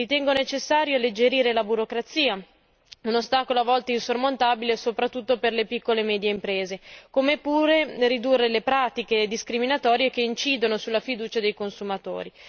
Ritengo necessario alleggerire la burocrazia un ostacolo a volte insormontabile, soprattutto per le piccole e medie imprese e ridurre le pratiche discriminatorie che incidono sulla fiducia dei consumatori.